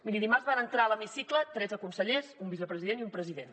miri dimarts van entrar a l’hemicicle tretze consellers un vicepresident i un president